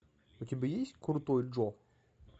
у тебя есть крутой джо